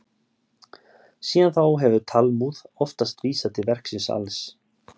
Síðan þá hefur Talmúð oftast vísað til verksins alls.